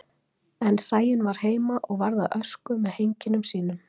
Kíkjum á úrslit og markaskorarana frá því í gær og skoðum hvaða Íslendingar spiluðu.